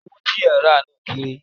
Owó tí ẹ rà á náà kéré.